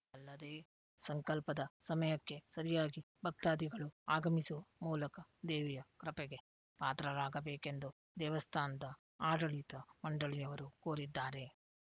ಅಲ್ಲದೇ ಸಂಕಲ್ಪದ ಸಮಯಕ್ಕೆ ಸರಿಯಾಗಿ ಭಕ್ತಾದಿಗಳು ಆಗಮಿಸು ಮೂಲಕ ದೇವಿಯ ಕೃಪೆಗೆ ಪಾತ್ರರಾಗಬೇಕೆಂದು ದೇವಸ್ಥಾನದ ಆಡಳಿತ ಮಂಡಳಿಯವರು ಕೋರಿದ್ದಾರೆ